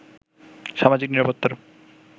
সামাজিক নিরাপত্তার